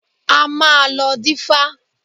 A máa lọ dífá.